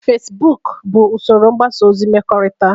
Feciboku $bụ usoro mgbasa ozi mmekọrịta